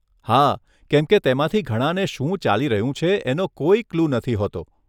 હા કેમકે તેમાંથી ઘણાને શું ચાલી રહ્યું છે એનો કોઈ ક્લું નથી હોતો.